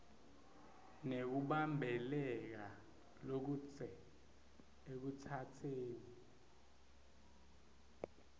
nekubambeleleka lokudze ekutsatseni